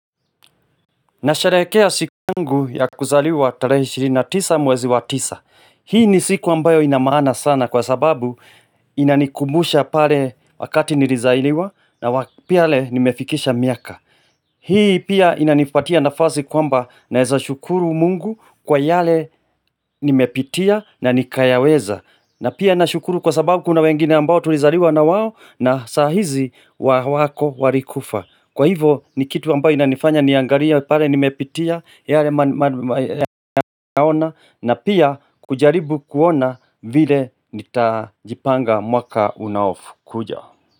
Nasharekea siku yangu ya kuzaliwa tarehe ishini na tisa mwezi wa tisa. Hii ni siku ambayo inamaana sana kwa sababu inanikumbusha pale wakati nilizailiwa na wapia nimefikisha miaka. Hii pia inanifatia nafasi kwamba naeza shukuru mungu kwa yale nimepitia na nikayaweza. Na pia i nashukuru kwa sababu kuna wengine ambayo tulizaliwa na wawo na sahizi wako walikufa. Kwa hivo ni kitu ambayo inanifanya niangalie pale nimepitia yale maona na pia kujaribu kuona vile nitajipanga mwaka unaofu kuja.